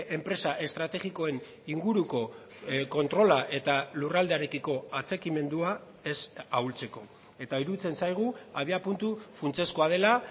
enpresa estrategikoen inguruko kontrola eta lurraldearekiko atxikimendua ez ahultzeko eta iruditzen zaigu abiapuntu funtsezkoa dela